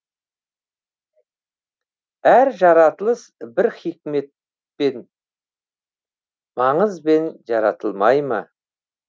әр жаратылыс бір хикмет пен маңызбен жаратылмай ма